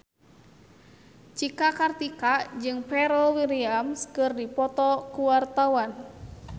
Cika Kartika jeung Pharrell Williams keur dipoto ku wartawan